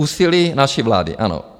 Úsilí naší vlády, ano.